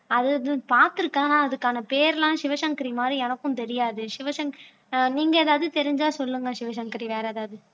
அது பார்த்திருக்கேன் ஆனா அதுக்கான பேரெல்லாம் சிவசங்கரி மாதிரி எனக்கும் தெரியாது சிவசங் ஆஹ் நீங்க எதாவது தெரிஞ்சா சொல்லுங்க சிவசங்கரி வேற ஏதாவது